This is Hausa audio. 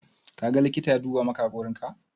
Ka ga likita ya duba maka hakorin ka?